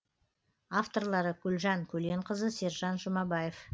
авторлары гүлжан көленқызы сержан жұмабаев